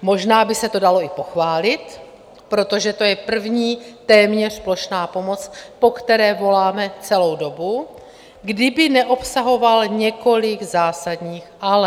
Možná by se to dalo i pochválit, protože to je první téměř plošná pomoc, po které voláme celou dobu, kdyby neobsahoval několik zásadních "ale".